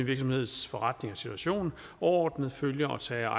virksomheds forretning og situation overordnet følger og tager